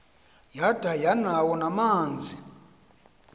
yada yanawo namanzi